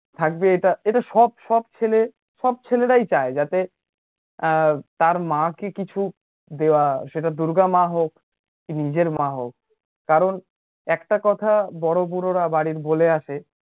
থাকবে, এটা সব সব ছেলে, সব ছেলেরাই চায়, যাতে তার মাকে কিছু দেওয়া, সেটা দূর্গা মা হোক, কি নিজের মা হোক, একটা কথা বড় বুড়োরা বাড়ির বলে আসে